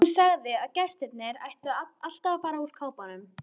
Hún sagði að gestir ættu alltaf að fara úr kápunni.